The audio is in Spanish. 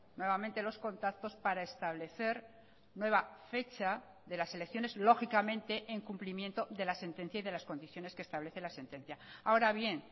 nuevamente los contactos para establecer nueva fecha de las elecciones lógicamente en cumplimiento de la sentencia y de las condiciones que establece la sentencia ahora bien